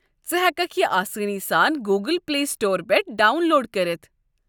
ژٕ ہٮ۪ککھ یہِ آسٲنی سان گوٗگٕل پلے سٹورٕ پٮ۪ٹھٕ ڈاون لوڈ کٔرِتھ۔